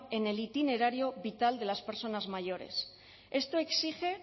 en el itinerario vital de las personas mayores esto exige